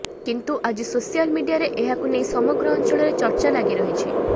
କିନ୍ତୁ ଆଜି ସୋସିଆଲ ମିଡିଆରେ ଏହାକୁ ନେଇ ସମଗ୍ର ଅଞ୍ଚଳରେ ଚର୍ଚ୍ଚା ଲାଗିରହିଛି